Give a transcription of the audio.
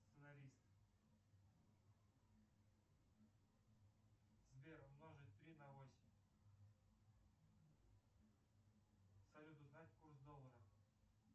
сценарист сбер умножить три на восемь салют узнать курс доллара